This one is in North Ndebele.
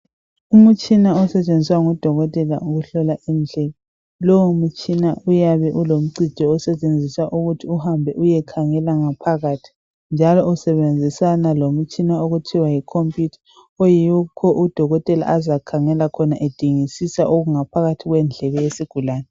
Umtshina osetshenziswa ngudokotela ukuhlola indlebe. Lowo mtshina uyabe ulomcijo osetshenziswa ukuthi uhambe uyekhangela ngaphakathi njalo usebenzisana lomtshina okuthiwa yikhompiyutha oyikho udokotela azakhangela khona edingisisa okungaphakathi kwendlebe yesigulane .